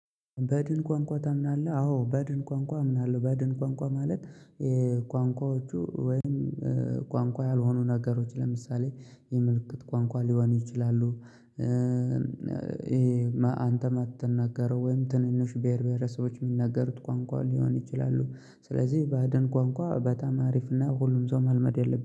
በድን ቋንቋ ታምናለህ? አዎ በድን ቋንቋ አምናለሁ በድን ቋንቋ ማለት የቋንቋዎቹ ወይም ቋንቋ ያልሆኑ ነገሮች ለምሳሌ የምልክት ቋንቋ ሊሆኑ ይችላሉ። ይሄ አንተ የማትናገረው ወይም ትንንሽ ብሄር ብሄረሰቦች የሚናገሩት ቋንቋ ሊሆን ይችላሉ። ስለዚህ ባድን ቋንቋ በጣም አሪፍ እና ሁሉም ሰው መልመድ ያለበት